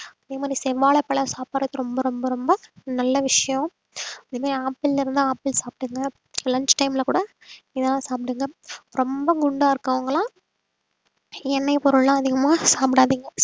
அதே மாதிரி செவ்வாழைப்பழம் சாப்பிடுறது ரொம்ப ரொம்ப ரொம்ப நல்ல விஷயம் இனிமேல் apple ல இருந்தா apple சாப்பிடுங்க lunch time ல கூட ஏதாவது சாப்பிடுங்க ரொம்ப குண்டா இருக்கறவங்க எல்லாம் எண்ணெய் பொருள் எல்லாம் அதிகமா சாப்பிடாதீங்க